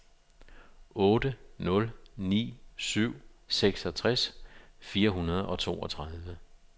otte nul ni syv seksogtres fire hundrede og toogtredive